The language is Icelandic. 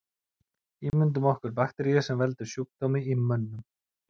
Ímyndum okkur bakteríu sem veldur sjúkdómi í mönnum.